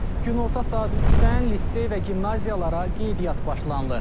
Günorta saat 3-dən lisey və gimnaziyalara qeydiyyat başlanılır.